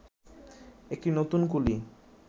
একটি নতুন কুলি